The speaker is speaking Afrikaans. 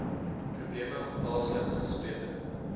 probleme haaslip gesplete